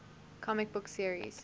comic book series